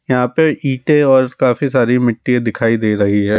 यहाँ पे इटे और काफी सारी मिट्टी दिखाई दे रही है।